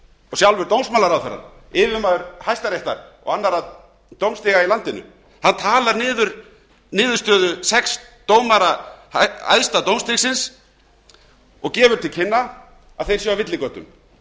sjálfur dómsmálaráðherra yfirmaður hæstaréttar og annarra dómstiga í landinu talar niður niðurstöðu sex dómara æðsta dómstigsins og gefur til kynna að þeir séu á villigötum